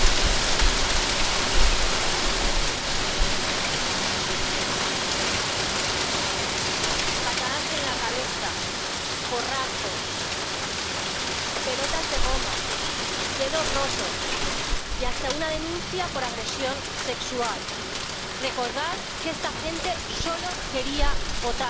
Señor presidente patadas en la cabeza, porrazos, pelotas de goma, dedos rotos y hasta una denuncia por agresión sexual. Recordad que esta gente solo quería votar.